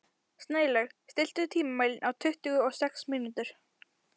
Snælaug, stilltu tímamælinn á tuttugu og sex mínútur.